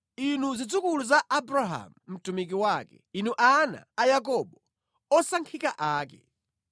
inu zidzukulu za Abrahamu mtumiki wake, inu ana a Yakobo, osankhika ake.